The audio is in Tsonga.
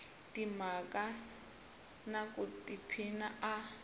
timhaka na ku tiphina a